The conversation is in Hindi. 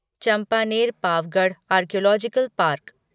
Champaner Pavagadh archaeological park